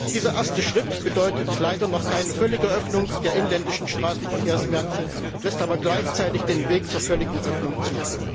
Dieser erste Schritt bedeutet leider noch keine völlige Öffnung der inländischen Straßenverkehrsmärkte, lässt aber gleichzeitig den Weg zur völligen Öffnung zu.